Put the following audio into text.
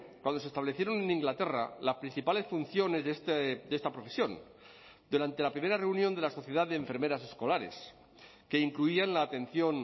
cuando se establecieron en inglaterra las principales funciones de esta profesión durante la primera reunión de la sociedad de enfermeras escolares que incluían la atención